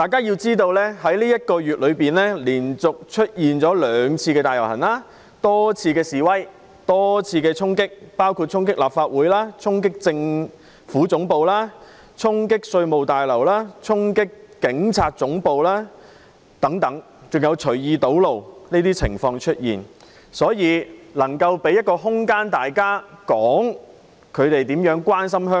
在這個月內連續出現兩次大遊行及多次示威和衝擊，包括衝擊立法會綜合大樓、政府總部、稅務大樓及警察總部等，還出現隨意堵路的情況，所以我覺得有需要給議員一個空間，表達大家如何關心香港。